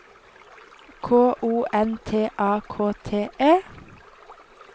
K O N T A K T E